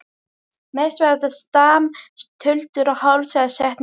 Mest var þetta stam, tuldur og hálfsagðar setningar.